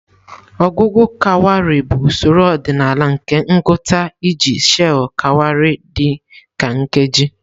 Ọgụgụ kawarị bụ usoro ọdịnala nke ngụta iji sheị̀ kawarị dị ka nkeji.